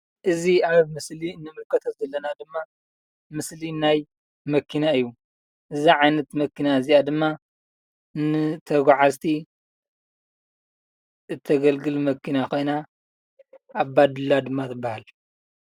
እዚ ኣብ ምስሊ እንምልከቶ ዘለና ድማ ምስሊ ናይ መኪና እዩ። እዛ ዓይነት መኪና እዚኣ ድማ ንተጓዓዝቲ እተገልግል መኪና ኮይና ኣባዱላ ድማ ትባሃል።